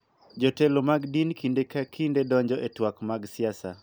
Jotelo mag din kinde ka kinde donjo e twak mag siasa.